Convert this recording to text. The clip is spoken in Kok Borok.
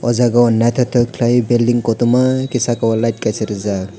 o jaga o naitotok kelaioe belding kotorma ke sakao light kaisa rijak.